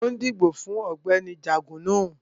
Mo ń dìbò fún Ọ̀gbẹ́ni Jugunu